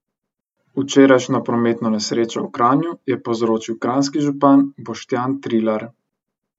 Včerajšnjo prometno nesrečo v Kranju je povzročil kranjski župan Boštjan Trilar.